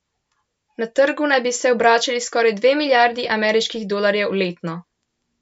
Na trgu naj bi se obračali skoraj dve milijardi ameriških dolarjev letno.